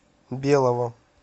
белого